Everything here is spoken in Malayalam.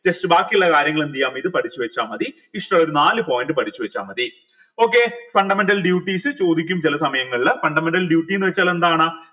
just ബാക്കിയുള്ള കാര്യങ്ങൾ എന്തെയ്യ ഇത് പഠിച്ച് വെച്ച മതി ഇഷ്ടുള്ള ഒരു നാല് point പഠിച്ച് വെച്ച മതി okay fundamental duties ചോദിക്കും ചെല സമയങ്ങളിൽ fundamental duty ന്ന് വെച്ചാൽ എന്താണ്